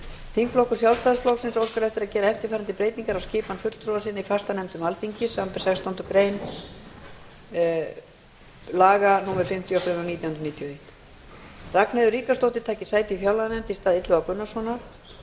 þingflokkur sjálfstæðisflokksins óskar eftir að gera eftirfarandi breytingar á skipun fulltrúa sinna í fastanefndum alþingis samanber sextándu grein laga númer fimmtíu og fimm nítján hundruð níutíu og eitt að ragnheiður ríkharðsdóttir taki sæti í fjárlaganefnd í stað illuga gunnarssonar og